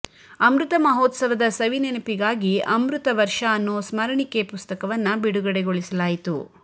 ಅಮೃತ ಮಹೋತ್ಸವದ ಸವಿ ನೆನಪಿಗಾಗಿ ಅಮೃತ ವರ್ಷ ಅನ್ನೋ ಸ್ಮರಣಿಕೆ ಪುಸ್ತಕವನ್ನ ಬಿಡುಗಡೆಗೊಳಿಸಲಾಯಿತು